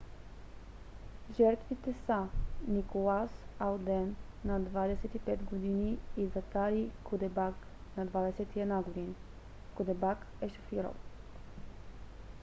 жертвите са николас алден на 25 г. и закари кудебак на 21 г. кудебак е шофирал